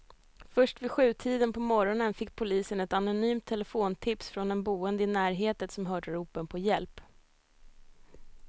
Först vid sjutiden på morgonen fick polisen ett anonymt telefontips från en boende i närheten som hört ropen på hjälp.